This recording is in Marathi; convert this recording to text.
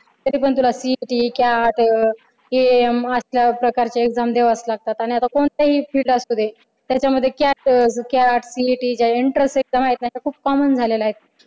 तरीपण तुला CET त्यात AM असल्या प्रकारचे exam द्यावाच लागतात आणि आता कोणताही field असुदे त्यात CET च्या enternes exam आहेत ना त्या